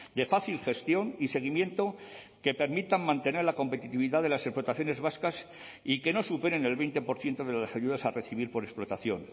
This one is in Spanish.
de fácil gestión y seguimiento que permitan mantener la competitividad de las explotaciones vascas y que no superen el veinte por ciento de las ayudas a recibir por explotación